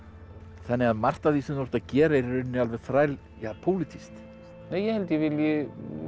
þannig að margt af því sem þú ert að gera er í rauninni alveg þrælpólitískt ég held ég vilji